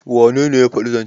wanene ya faɗi zancen?